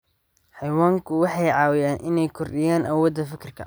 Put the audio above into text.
Xayawaanku waxay caawiyaan inay kordhiyaan awoodda fikirka.